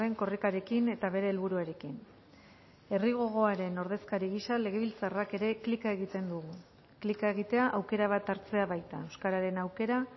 korrikarekin eta bere helburuarekin herri gogoaren ordezkari gisa legebiltzarrak ere klika egiten dugu klika egitea aukera bat hartzea baita euskararen aukera